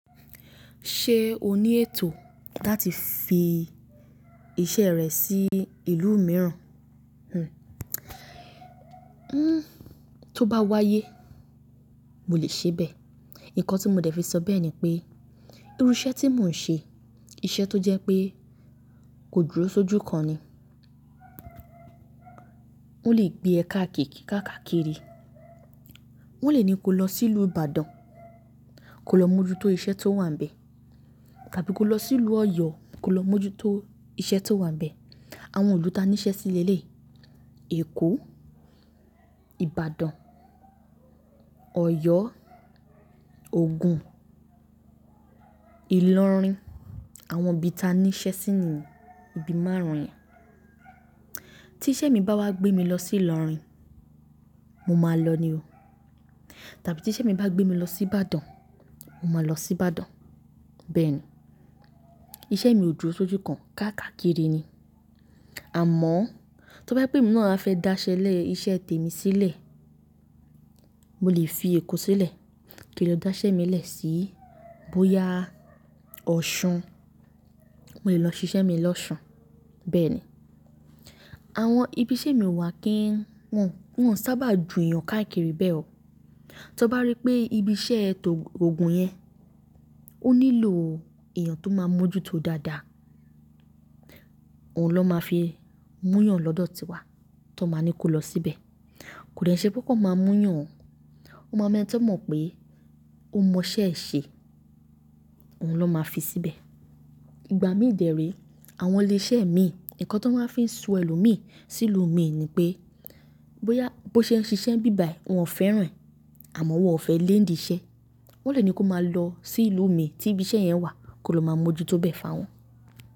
Ṣé o ní ètò láti fi iṣẹ́ rẹ sí ìlú mìíràn? Hmm, to bá wáyé mo lè ṣe bẹ́ẹ̀. Ǹkan tí mo dẹ̀ fi sọ bẹ́ẹ̀ ni pé, irú iṣẹ́ tí mò ń ṣe, iṣẹ́ tó jẹ́ pé kò dúró sójú kan ni. Wọ́n lè gbé e káàkiri. Wọ́n le ní ko lọ sí ìlú Ìbàdàn, ko lọ mójútó iṣẹ́ tó wà níbẹ̀, tàbí ko lọ sí ìlú Ọ̀yọ́ ko lọ mójútó iṣẹ́ tó wà níbẹ̀. Àwọn ìlú ta ní iṣẹ́ sílẹ̀ léyìí, Èkó, Ìbàdàn, Ọ̀yọ́, Ògùn, Ìlọrin, àwọn ibi ta ní iṣẹ́ síi ni, ibi márùn-ún yẹn. Tí iṣẹ́ mi bá wá gbé mi lọ sí Ìlọrin, mo máa lọ ni o. Tàbí tí iṣẹ́ mi bá gbé mi lọ sí Ìbàdàn, mo máa lọ sí Ìbàdàn, bẹ́ẹ̀ ni. Iṣẹ́ mi ò dúró sójú kan, káàkiri ni. Àmọ́, tó bá jẹ pé emi náà fẹ́ dáṣẹ́lẹ̀, iṣẹ́ tèmi sílẹ̀, mo lè fi Èkó sílẹ̀, kí n lọ dáṣẹ́ mi lẹ̀ síí bóyá Ọ̀ṣun, mo lè lọ ṣiṣẹ́ mi lọ-ọṣun, bẹ́ẹ̀ ni. Àwọn ibi iṣẹ́ mi wà kí ń wọn, wọ́n sábà ju èèyàn káàkiri bẹ́ẹ̀ o. Tó bá rí pé ibi iṣẹ́ ẹ tó-ogùn yẹn, ó nílò èèyàn tó máa mójútó dáadáa, òun ló máa fi mú yàn lọ́dọ̀ tiwa, ti won máa ní ko lọ síbẹ̀. Kò dẹ ṣe pé won kan máa mú yàn, won máa mu ẹ́ni ti won mọ̀ pé ó mọ iṣẹ́ ẹ ṣe, òun ló máa fi síbẹ̀. Ìgbà mí dẹ̀ re, àwọn ilé iṣẹ́ mi, ǹkan tí wọ́n máa fi ń sun ènìyàn mí sí ìlú mi ni pé, bóyá bó ṣe ń ṣiṣẹ́ ni ibi bàyi wọ́n o fẹ́ràn ẹ, àmọ́ wọ́n ò fẹ́ le nidì iṣẹ́. Wọ́n le ní ko máa lọ sí ìlú mi tí ibi iṣẹ́ yẹn wà kó lọ má mójútó bẹ́ẹ̀ fún awọn.